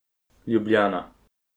Ljubljana.